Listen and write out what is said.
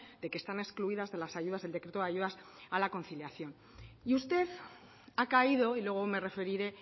de que están excluidas de las ayudas del decreto de ayudas a la conciliación y usted ha caído y luego me referiré